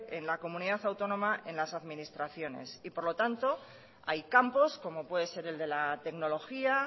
en la comunidad autónoma en las administraciones y por lo tanto hay campos como puede ser el de la tecnología